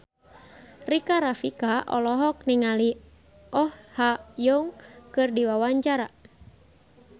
Rika Rafika olohok ningali Oh Ha Young keur diwawancara